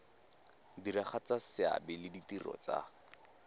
diragatsa seabe le ditiro tsa